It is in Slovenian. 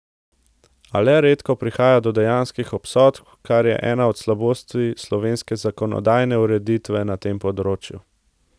A le redko prihaja do dejanskih obsodb, kar je ena od slabosti slovenske zakonodajne ureditve na tem področju.